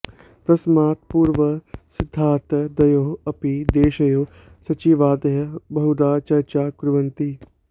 तस्मात् पूर्वं सिद्धतार्थं द्वयोः अपि देशयोः सचिवादयः बहुधा चर्चां कुर्वन्ति